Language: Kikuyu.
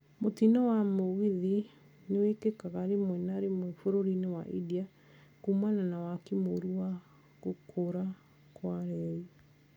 Mũtino wa mũgithi nĩwĩkĩkaga rĩmwe na rĩmwe bũrũri-inĩ wa India kũmana na waki mũũru na gũkũra kwa reri